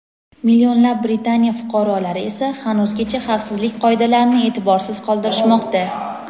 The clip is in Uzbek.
Millionlab Britaniya fuqarolari esa hanuzgacha xavfsizlik qoidalarini e’tiborsiz qoldirishmoqda.